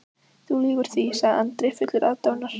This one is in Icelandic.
Þú lýgur því, sagði Andri fullur aðdáunar.